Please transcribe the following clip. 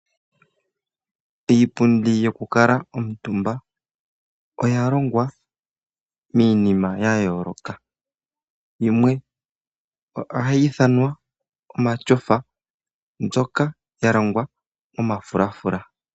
Iipundi yoku kala omutumba oya longwa miinima yayooloka. Yimwe ohayi ithanwa omatyofa mbyoka ya longwa momafulafula.